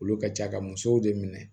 Olu ka ca ka musow de minɛ